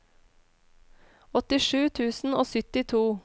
åttisju tusen og syttito